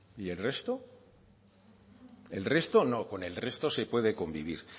y el resto el resto no con el resto se puede convivir